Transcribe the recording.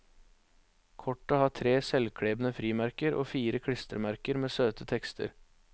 Kortet har tre selvklebende frimerker og fire klistremerker med søte tekster.